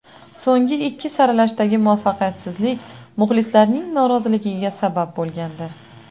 So‘nggi ikki saralashdagi muvaffaqiyatsizlik muxlislarning noroziligiga sabab bo‘lgandi.